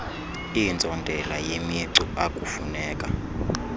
iintsontela yemicu akufuneka